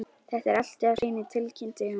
Þetta er allt á hreinu, tilkynnti hún.